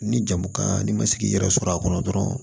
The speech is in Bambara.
Ni jamu kan n'i ma se k'i yɛrɛ sɔrɔ a kɔnɔ dɔrɔn